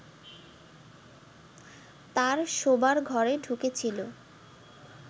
তাঁর শোবার ঘরে ঢুকেছিল